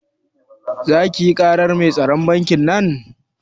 Zaki yi karar mai tsaron bankin nan?